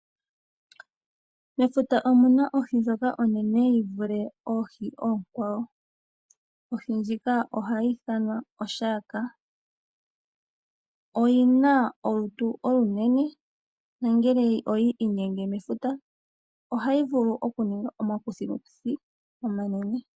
Mefuta omuna ohi ndjoka onene yi vule oohi oonkwawo, ohi ndjika ohayi ithanwa o shark, oyina olutu olunene nongele oyi inyenge mefuta ohayi vulu okuninga omakuthikuthi omanene.